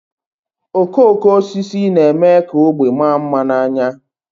Okooko osisi na-eme ka ógbè maa mma n'anya